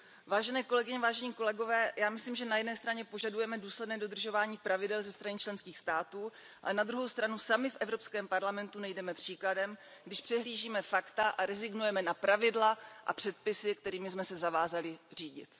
Vážené kolegyně a kolegové, já myslím, že na jedné straně požadujeme důsledné dodržování pravidel ze strany členských států, ale na druhou stranu sami v Evropském parlamentu nejdeme příkladem, když přehlížíme fakta a rezignujme na pravidla a předpisy, kterými jsme se zavázali řídit.